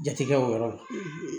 Jate kɛ o yɔrɔ la